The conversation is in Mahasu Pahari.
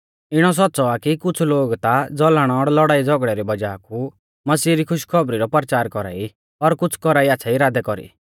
इणौ सौच़्च़ौ आ कि कुछ़ लोग ता ज़लन और लौड़ाईझ़ौगड़ै री वज़ाह कु मसीहा री खुशी री खौबरी रौ परचार कौरा ई और कुछ़ कौरा ई आच़्छ़ै इरादै कौरी